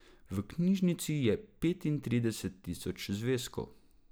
V knjižnici je petintrideset tisoč zvezkov.